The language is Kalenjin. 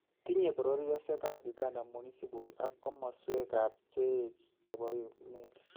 Tinye bororyosyekab Uganda municibol ak komoswekaabcheech chebo emet